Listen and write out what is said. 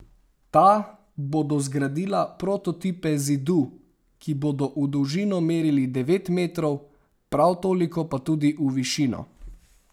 Ta bodo zgradila prototipe zidu, ki bodo v dolžino merili devet metrov, prav toliko pa tudi v višino.